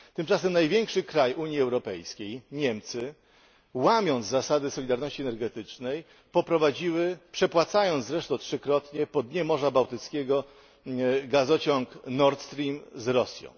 Tymczasem największy kraj Unii Europejskiej Niemcy, łamiąc zasadę solidarności energetycznej, poprowadziły, przepłacając zresztą trzykrotnie, po dnie Morza Bałtyckiego gazociąg Nordstream z Rosji.